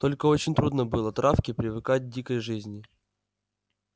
только очень трудно было травке привыкать к дикой жизни